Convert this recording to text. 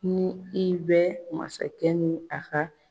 Ni i bɛ masakɛ ni a ka